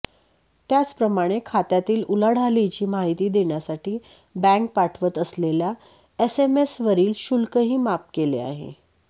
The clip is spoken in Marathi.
त्याचप्रमाणे खात्यातील उलाढालीची माहिती देण्यासाठी बँक पाठवत असलेल्या एसएमएसवरील शुल्कही माफ केले आहे